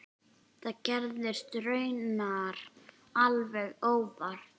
Það gerðist raunar alveg óvart.